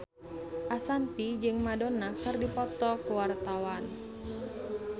Ashanti jeung Madonna keur dipoto ku wartawan